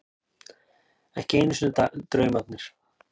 Ekki einu sinni draumarnir.